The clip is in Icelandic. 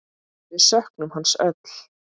Við söknum hans öll.